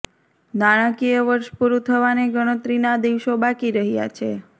નાણાંકિય વર્ષ પુરૂ થવાને ગણતરીના દિવસો બાકી રહ્યા છે